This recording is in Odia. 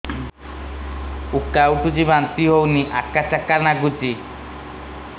ଉକା ଉଠୁଚି ବାନ୍ତି ହଉନି ଆକାଚାକା ନାଗୁଚି